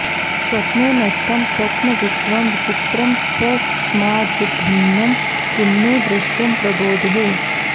स्वप्ने नष्टं स्वप्नविश्वं विचित्रं स्वस्माद्भिन्नं किन्नु दृष्टं प्रबोधे